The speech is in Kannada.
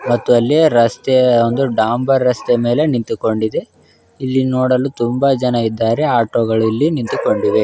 ಮತ್ತು ಅಲ್ಲಿ ರಸ್ತೆಯ ಒಂದು ಡಾಂಬರ್ ರಸ್ತೆ ಮೇಲೆ ನಿಂತುಕೊಂಡಿದೆ ಇಲ್ಲಿ ನೋಡಲು ತುಂಬ ಜನ ಇದ್ದಾರೆ ಆಟೋಗಳು ನಿಂತುಕೊಂಡಿವೆ.